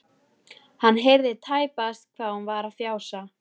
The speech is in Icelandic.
Hann heyrði tæpast hvað hún var að fjasa.